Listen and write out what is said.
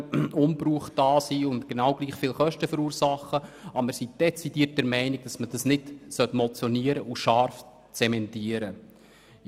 Wir sind jedoch dezidiert der Meinung, dass man dies nicht motionieren und scharf zementieren sollte.